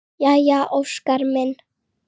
Jæja Óskar minn!